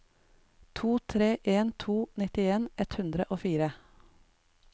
to tre en to nittien ett hundre og fire